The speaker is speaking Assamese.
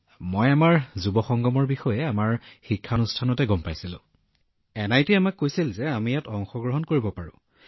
গ্যামাৰ জীঃ মোদীজী আমাৰ প্ৰতিষ্ঠান এনআইটিয়ে আমাক যুৱ সংগমৰ বিষয়ে জনাইছিল যে আমি ইয়াত অংশগ্ৰহণ কৰিব পাৰো